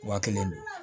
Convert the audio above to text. Waa kelen don